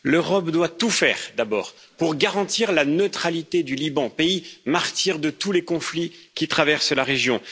L'Europe doit tout faire, d'abord pour garantir la neutralité du Liban, pays martyr de tous les conflits qui traversent la région.